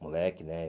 Moleque, né?